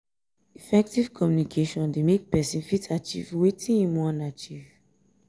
effective communication dey make persin fit achieve wetin im won achieve